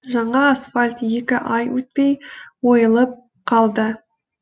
жаңа асфальт екі ай өтпей ойылып қалды